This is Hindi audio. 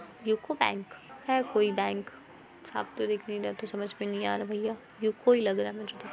यूको बैंक है कोई बैंक साफ़ तो दिख नहीं रहा है तो समझ में नहीं आ रहा भैया यूको ही लग रहा है मुझे तो।